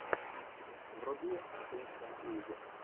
вруби кристен уиг